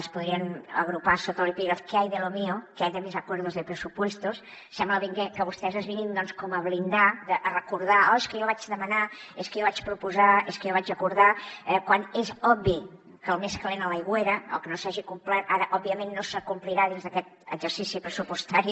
es podrien agrupar sota l’epígraf qué hay de lo mío qué hay de mis acuerdos de presupuestos sembla que vostès ens vinguin com a blindar a recordar oh és que jo vaig demanar és que jo vaig proposar és que jo vaig acordar eh quan és obvi que el més calent a l’aigüera el que no s’hagi complert ara òbviament no s’acomplirà dins d’aquest exercici pressupostari